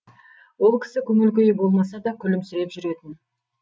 ол кісі көңіл күйі болмаса да күлімсіреп жүретін